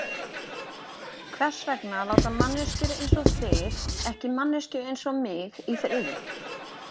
Hvers vegna láta manneskjur einsog þið ekki manneskju einsog mig í friði?